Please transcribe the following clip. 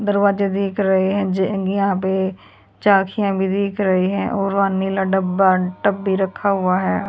दरवाजा दिख रही है ज यहां पे चखियां भी दिख रही है और वां नीला डब्बा टब भी रखा हुआ है।